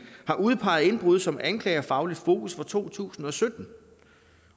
har udpeget indbrud som anklagerfagligt fokus i to tusind og sytten